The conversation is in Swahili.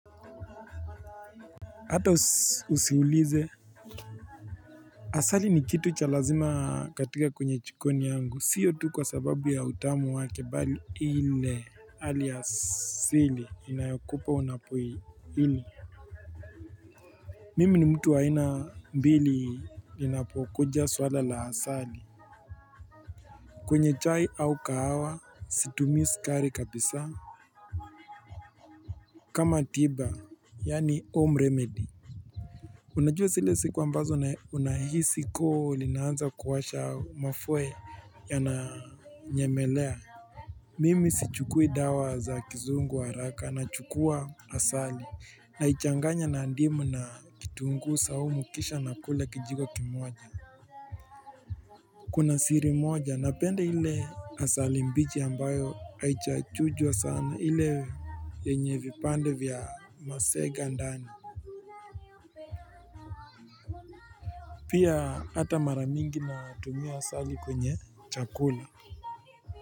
Hata usiulize asali ni kitu cha lazima katika kwenye jikoni yangu sio tu kwa sababu ya utamu wake bali ile hali asili inayokupa unapoila Mimi ni mtu wa hina mbili linapokuja swala la asali kwenye chai au kahawa situmii sukari kabisa kama tiba yaani 'home remedy' Unajua zile siku ambazo unahisi koo linanza kuwasha mafua yananyemelea Mimi sichukui dawa za kizungu haraka, nachukua asali, naichanganya na ndimu na kitunguu saumu kisha nakula kijiko kimoja Kuna siri moja napende ile asali mbichi ambayo haichachujwa sana ile yenye vipande vya masega ndani Pia ata mara mingi natumia asali kwenye chakula.